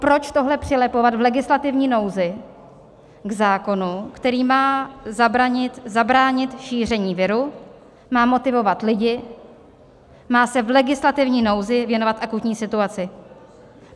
Proč tohle přilepovat v legislativní nouzi k zákonu, kterým má zabránit šíření viru, má motivovat lidi, má se v legislativní nouzi věnovat akutní situaci?